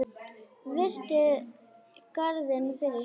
Virti garðinn fyrir sér.